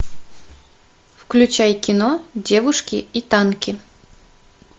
включай кино девушки и танки